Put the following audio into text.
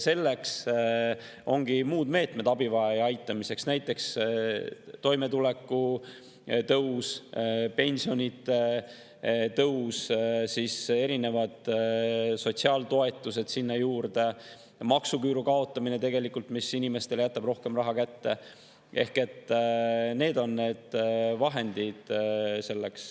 Selleks, et abivajajat aidata, ongi muud meetmed, näiteks toimetuleku tõstmine, pensionitõus, erinevad sotsiaaltoetused sinna juurde, maksuküüru kaotamine, mille jääb inimestele rohkem raha kätte – need on need vahendid selleks.